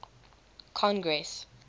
congress